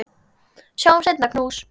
Sjáumst seinna, knús.